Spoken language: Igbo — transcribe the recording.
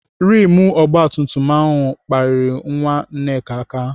Rimụ ogbatumtum ahụ kpapịrị nwa Nneka aka.